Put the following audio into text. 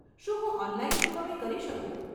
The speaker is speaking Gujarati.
શું હું ઓનલાઈન ચૂકવણી કરી શકું?